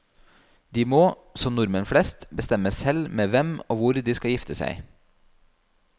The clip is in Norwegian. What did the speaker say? De må, som nordmenn flest, bestemme selv med hvem og hvor de skal gifte seg.